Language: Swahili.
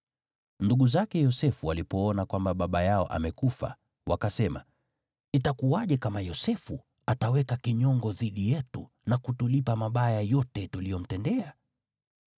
Ndugu zake Yosefu walipoona kwamba baba yao amekufa, wakasema, “Itakuwaje kama Yosefu ataweka kinyongo dhidi yetu na kutulipa mabaya yote tuliyomtendea?”